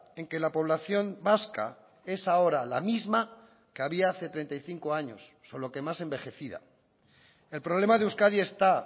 en que la población vasca es ahora la misma que había hace treinta y cinco años solo que más envejecida el problema de euskadi está